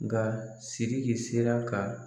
Nga siriki sera ka